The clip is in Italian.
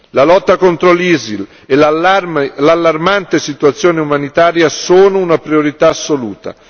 La lotta contro l'ISIL e l'allarmante situazione umanitaria sono una priorità assoluta.